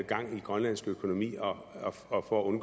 gang i grønlandsk økonomi og og for at